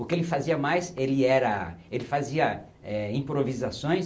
O que ele fazia mais, ele era ele fazia é... improvisações